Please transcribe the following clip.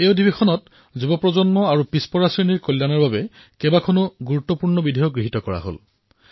এই সত্ৰত যুৱ প্ৰজন্ম আৰু পিছ পৰা সম্প্ৰদায়সকলক লাভান্বিত কৰিব পৰা বহুতো গুৰুত্বপূৰ্ণ বিধেয়ক গৃহীত হল